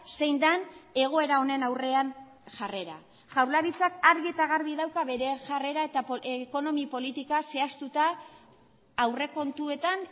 zein den egoera honen aurrean jarrera jaurlaritzak argi eta garbi dauka bere jarrera eta ekonomi politika zehaztuta aurrekontuetan